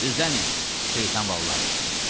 Düzlənin, şeytan balaları!